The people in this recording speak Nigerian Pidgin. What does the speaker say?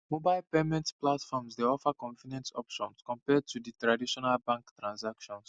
mobile payment platforms dey offer convenient options compared to di traditional bank transactions